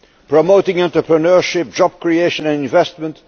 promoting entrepreneurship, job creation and investment